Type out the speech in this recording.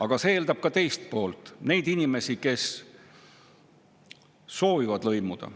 Aga see eeldab ka teist poolt: neid inimesi, kes soovivad lõimuda.